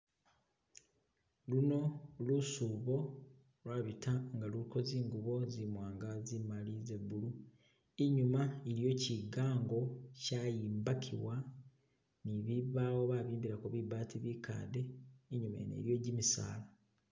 Luno lusubo lwabita nga luliko zingubo zimwanga, zimali, ze blue inyuma iliyo kigango kyayimbakibwa ni bibawo babimbalako bibati bikade inyuma yene iliyo kimisala